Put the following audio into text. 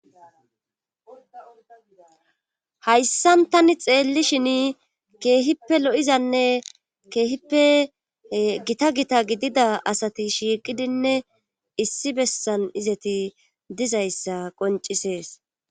Hayssan tani xeelli shin keehippe lo7izanne keehippe gita gita gidida asati shiiqidinne issi bessan izeti dizayssa qoncisees